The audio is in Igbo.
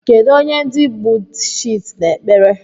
Kedu onye ndi Bhuddhists n'ekpere?